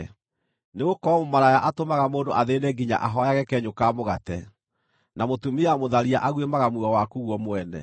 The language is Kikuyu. nĩgũkorwo mũmaraya atũmaga mũndũ athĩĩne nginya ahooyage kenyũ ka mũgate, na mũtumia mũtharia aguĩmaga muoyo waku guo mwene.